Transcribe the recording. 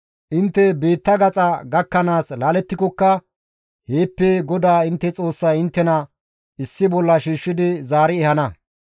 Intte biitta gaxa gakkanaas laalettikokka heeppe GODAA intte Xoossay inttena issi bolla shiishshidi zaari ehana.